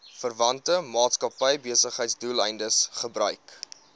verwante maatskappybesigheidsdoeleindes gebruik